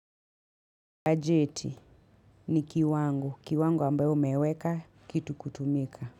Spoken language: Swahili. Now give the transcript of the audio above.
Bajeti ni kiwango, kiwango ambayo umeweka kitu kutumika.